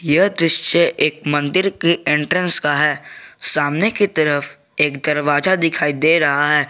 यह दृश्य एक मंदिर के एंट्रेंस का है सामने की तरफ एक दरवाजा दिखाई दे रहा है।